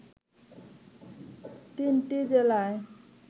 তিনটি জেলায়